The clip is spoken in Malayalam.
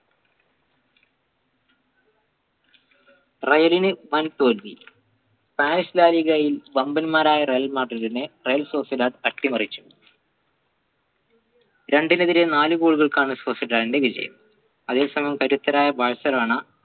റെയിലിന് വൻ തോൽവി പാരിസ് laliga യിൽ വമ്പൻമാരായ real madrid ന് റയൽ അട്ടിമറിച്ചു രണ്ടിനെതിരെ നാലുഗോളുകൾക്കാണ് വിജയം അതേസമയം കരുത്തരായ ബാർസലോണ